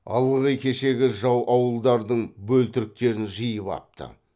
ылғи кешегі жау ауылдардың бөлтіріктерін жиып апты